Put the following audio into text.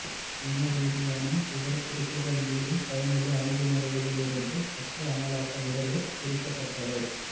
இனரீதியான விவரக்குறிப்புகள் மேலும் பயனுள்ள அணுகுமுறைகளிலிருந்து சட்ட அமலாக்க முகவர் திரிக்கப்பட்டவை